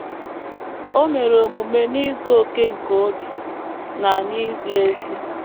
O mere omume “ n’izu okè nke obi, na n’izi ezi. ”